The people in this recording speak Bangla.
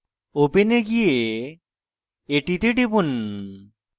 open এ গিয়ে এটিতে টিপুন